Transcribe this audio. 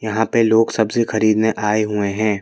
यहाँ पे लोग सब्जी खरीदने आये हुए हैं।